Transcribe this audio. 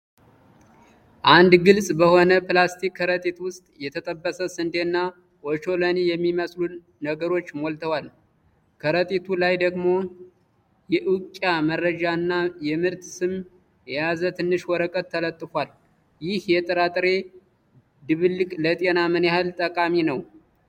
አንድ ግልጽ በሆነ ፕላስቲክ ከረጢት ውስጥ የተጠበሰ ስንዴና ኦቾሎኒ የሚመስሉ ነገሮች ሞልተዋል። ከረጢቱ ላይ ደግሞ የእውቂያ መረጃ እና የምርት ስም የያዘ ትንሽ ወረቀት ተለጥፏል። ይህ የጥራጥሬ ድብልቅ ለጤና ምን ያህል ጠቃሚ ነው?